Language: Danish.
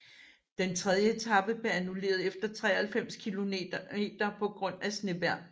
Den tredje etape blev annulleret efter 93 kilometer på grund af snevejr